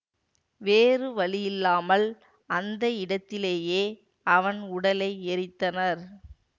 வேறு வழியில்லாமல் அந்த இடத்திலேயே அவன் உடலை எரித்தனர்